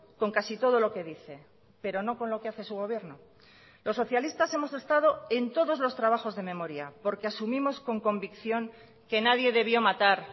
con casi todo lo que dice pero no con lo que hace su gobierno los socialistas hemos estado en todos los trabajos de memoria porque asumimos con convicción que nadie debió matar